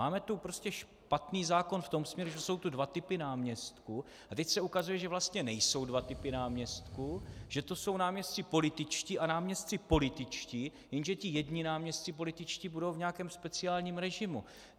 Máme tu prostě špatný zákon v tom smyslu, že jsou tu dva typy náměstků, a teď se ukazuje, že vlastně nejsou dva typy náměstků, že to jsou náměstci političtí a náměstci političtí, jenže ti jedni náměstci političtí budou v nějakém speciálním režimu.